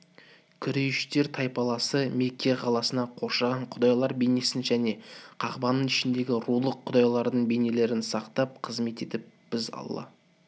күрейіштер тайпаласы мекке қаласын қоршаған құдайлар бейнесін және қағбаның ішіндегі рулық құдайлардың бейнелерін сақтап қызмет етіп біз алла